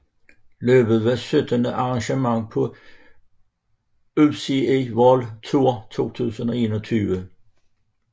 Løbet var syttende arrangement på UCI World Tour 2021